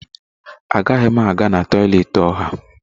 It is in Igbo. Agaghị m aga na toịletị ọha.